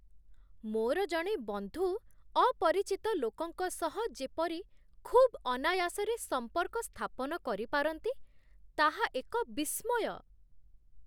ମୋର ଜଣେ ବନ୍ଧୁ ଅପରିଚିତ ଲୋକଙ୍କ ସହ ଯେପରି ଖୁବ୍ ଅନାୟାସରେ ସମ୍ପର୍କ ସ୍ଥାପନ କରିପାରନ୍ତି, ତାହା ଏକ ବିସ୍ମୟ।